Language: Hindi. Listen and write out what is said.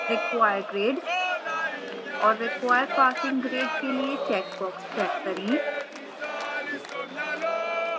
require grade और require passing grade के लिए checkboxes check करें